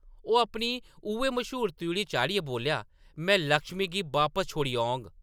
ओह् अपनी उ’ऐ मश्हूर त्रिउढ़ी चाढ़ियै बोल्लेआ, “में लक्ष्मी गी बापस छोड़ी औङ।